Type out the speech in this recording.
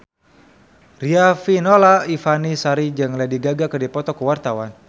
Riafinola Ifani Sari jeung Lady Gaga keur dipoto ku wartawan